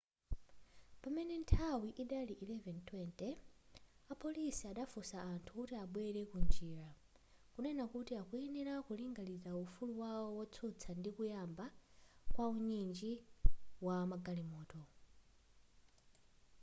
pamene nthawi idali 11:20 apolisi adafunsa anthu kuti abwerele ku njira kunena kuti akuyenera ku linganiza ufulu wawo wotsutsa ndi kuyamba kwa unyinji wa magalimoto